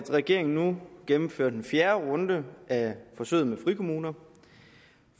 regeringen nu gennemfører den fjerde runde af forsøget med frikommuner